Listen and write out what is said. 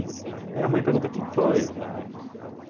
Minha mãe perguntou, o que que foi?